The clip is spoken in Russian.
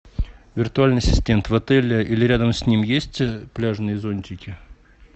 виртуальный ассистент в отеле или рядом с ним есть пляжные зонтики